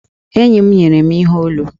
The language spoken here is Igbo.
Enyi m nyere m ihe olu.